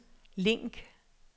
link